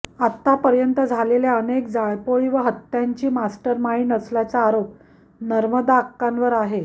आतापर्यन्त झालेल्या अनेक जाळपोळी व हत्यांची मास्टर माईंड असल्याचा आरोप नर्मदाक्कांवर आहे